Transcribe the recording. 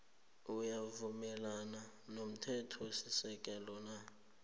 uyavumelana nomthethosisekelo na